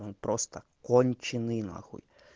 он просто конченые на хуй